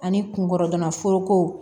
Ani kunkɔrɔbana foroko